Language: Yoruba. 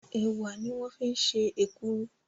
Ẹ̀wà ní wọ́n fi ṣe èkuru